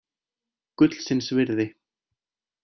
Gullsins virði.